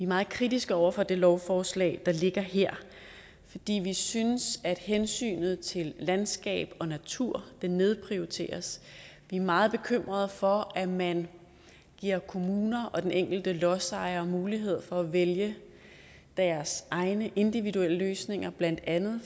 meget kritiske over for det lovforslag der ligger her fordi vi synes at hensynet til landskab og natur nedprioriteres vi er meget bekymrede for at man giver kommuner og den enkelte lodsejer mulighed for at vælge deres egne individuelle løsninger blandt andet